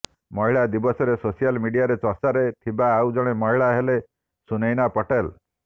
ମହିଳା ଦିବସରେ ସୋସିଆଲ ମିଡିଆରେ ଚର୍ଚ୍ଚା ରେ ଥିବା ଆଉ ଜଣେ ମହିଳା ହେଲେ ସୁନୈନା ପଟେଲ